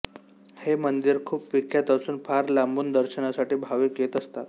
हे मंदिर खुप विख्यात असुन फार लांबुन दर्शनासाठी भावीक येत असतात